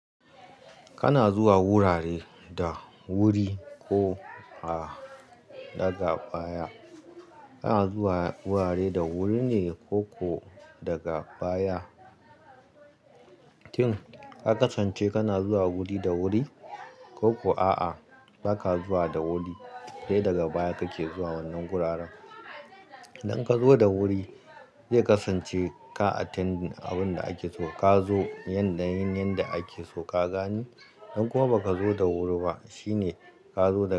Kana zuwa wurare da wuri ko a daga baya. Kana zuwa wurare da wuri ne ko kuwa daga baya. Tin ka kasance kana zuwa wuri da wuri ko kuwa a'a, ba ka zuwa da wuri, sai daga baya kake zuwa wannan wuraren. Idan ka zo da wuri, zai kasance ka attend abin da ake so ka zo yanda yin yanda ake so ka gani. Idan kuma ba ka zo da wuri ba, shine ka zo da.